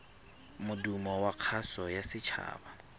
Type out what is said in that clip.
modumo wa kgaso ya setshaba